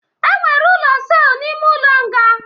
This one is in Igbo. E nwere ụlọ sel n'ime ụlọ nga